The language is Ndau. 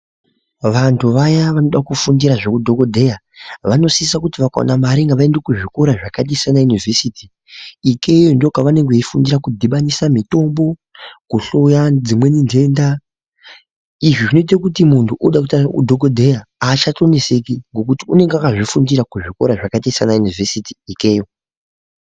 Vantu vaya vanoda kufundira zveudhogodheya vanosisa kuti vakaona mari ngavaende kuzvikora zviya zvakata semayunivhesiti. Ikeyo ndokwavanenge vechifundira kudhibanisa mitombo kuhloya dzimweni nhenda. Izvi zvinoite kuti muntu unode kuita udhogodheya hachatoneseki nokuti unenge akazvifundira kuzvikora zvakaita sana yunivhesiti ikeyo.